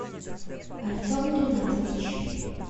артем ринатович